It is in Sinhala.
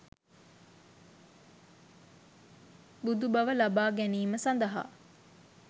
බුදු බව ලබා ගැනීම සඳහා